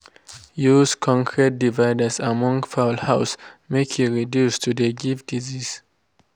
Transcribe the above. use concrete dividers among fowl house make e reduce to de give disease.